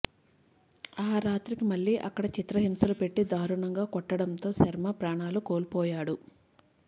ఆ రాత్రికి మళ్లీ అక్కడ చిత్రహింసలు పెట్టి దారుణంగా కొట్టడంతో శర్మ ప్రాణాలు కోల్పోయాడు